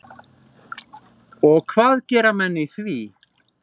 Við hvaða fjörð stendur Akurey?